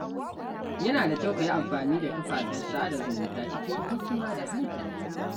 Yana da kyau a yi amfani da kafafen sada zumunta cikin hikima da hankali.